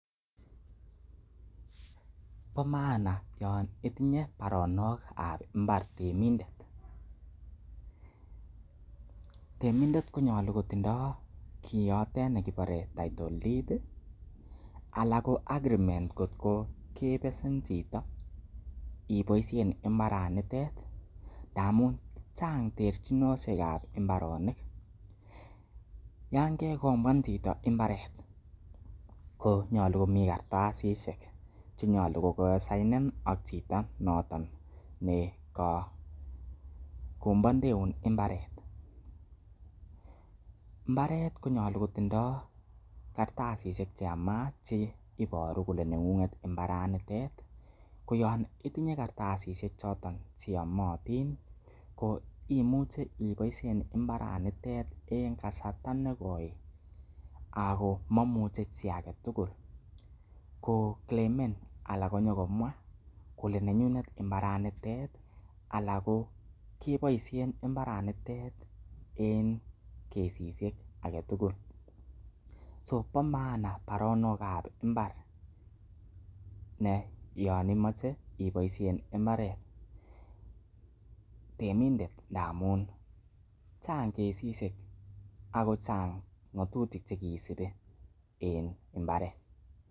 Bo maana yon itinye baronok ab imbar temindet. Temindet konyolu kotindo kiioto kibore title deed ala ko agreement kotko kebesen chito iboisien mbaranitet ndamun chang terchinosiek ab mbaronik. Yan kegombwan chito mbaret ko nyolu komikartasishek che nyolu kokagisainen ak chito noton ne kokombwandeun mbarenik. Mbaret konyolu kotindo kartasishek che yamaat che iboru kole neng'ng'et mbaranite. Ko yon itinye kartasishek choton che yomotin imuche iboisien mbaranitet en kasarta nekoi agomomuche chi age tugul koclaimen anan konyokomwa kole nenyin mbaranitet anan ko keboisien mbarenitet en kesishek age tugul. So bo maana baronok ab ibar ne yon imoche iboisien mbaret temindet amun chang kesishe ago chang ng'atutik che kisubi en mbaret.